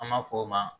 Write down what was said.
An b'a f'o ma